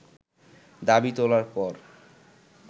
দাবি তোলার পর